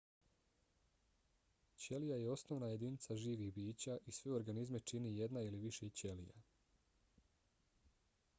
ćelija je osnovna jedinica živih bića i sve organizme čini jedna ili više ćelija